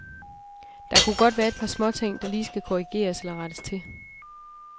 Der kunne godt være et par småting, der lige skal korrigeres eller rettes til.